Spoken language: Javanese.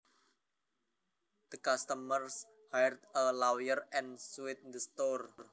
The customers hired a lawyer and sued the store